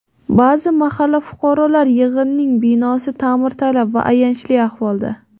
Ba’zi mahalla fuqarolar yig‘inining binosi ta’mirtalab va ayanchli ahvolda.